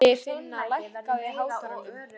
Ingifinna, lækkaðu í hátalaranum.